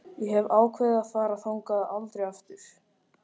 Ég hef ákveðið að fara þangað aldrei aftur.